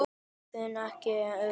Nefndi þetta ekki einu orði.